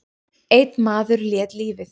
Einn maður lét lífið.